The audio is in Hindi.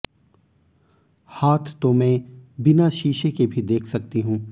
हाथ तो मैं बिना शीशे के भी देख सकती हूं